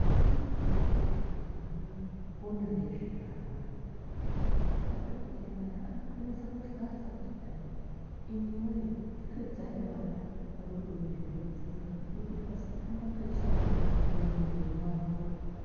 Mazhinji madhokoteya anoona ngezve ana adoko, madhokoteya aya anonase kuhlasa kuti hai imu wee pfekedzai vana vadodori zvinodziya kuita kuti vasapindwa ngechando mumuviri mwavo.